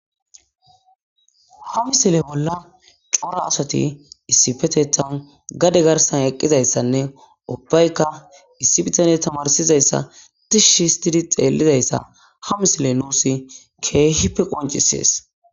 Ha misile bola cora asati issippetethani gade garisani eqizayisanee ubatikka issi bitanney tamarisizayisa tishi hisitid xeelizayisa ha misileyi nusi kehippe qonccisesi